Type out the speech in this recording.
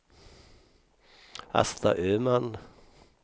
Asta Öman